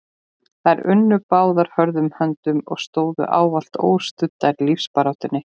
Þær unnu báðar hörðum höndum og stóðu ávallt óstuddar í lífsbaráttunni.